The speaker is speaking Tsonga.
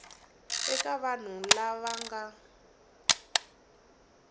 eka vanhu lava va nga